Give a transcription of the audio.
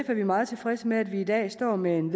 vi meget tilfredse med at vi i dag står med en